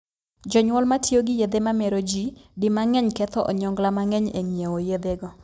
Jonyuol ma tiyo gi yedhe mamero jii di mang'eny ketho onyongla mang'eny e ngiewo yedhego.